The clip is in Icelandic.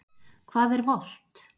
Hvað er volt?